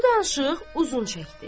Bu danışıq uzun çəkdi.